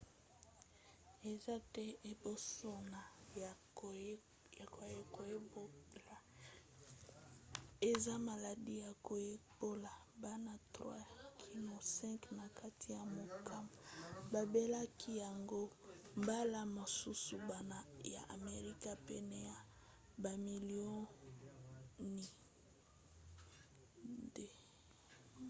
eza te ebosono ya koyekola eza maladi ya koyekola; bana 3 kino 5 na kati ya mokama babelaka yango mbala mosusu bana ya amerika pene ya bamilio 2